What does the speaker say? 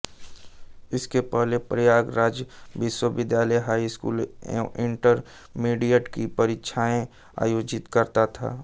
इसके पहले प्रयागराज विश्वविद्यालय हाई स्कूल एवं इण्टरमिडिएट की परीक्षाएं आयोजित करता था